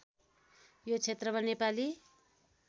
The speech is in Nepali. यो क्षेत्रमा नेपाली